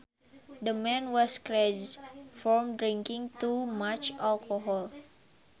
The man was crazed from drinking too much alcohol